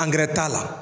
t'a la